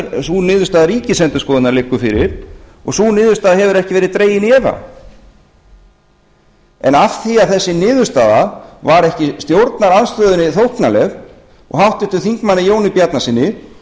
sú niðurstaða ríkisendurskoðunar liggur fyrir og sú niðurstaða hefur ekki verið dregin í efa en af því að þessi niðurstaða var ekki stjórnarandstöðunni þóknanleg og háttvirtum þingmanni jóni bjarnasyni